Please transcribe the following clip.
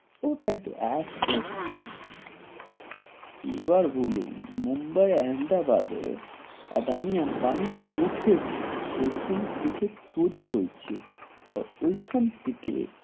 ওটাই তো এতো, এবার বলুন মুম্বাই-আহমেদাবাদে আদানি-আম্বানি উঠেছে, ওই খান থেকে তৈয়রী হয়েছে আর ওই খান থেকে,